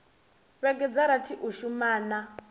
vhege dza rathi u shumana